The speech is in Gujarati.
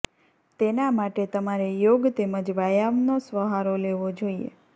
તેના માટે તમારે યોગ તેમજ વ્યાયામનો સહારો લેવો જોઈએ